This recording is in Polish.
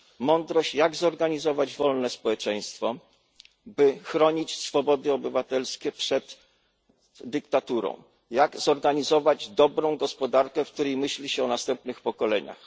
Mądrość, jak zorganizować wolne społeczeństwo, by chronić swobody obywatelskie przed dyktaturą, jak zorganizować dobrą gospodarkę, w której myśli się o następnych pokoleniach.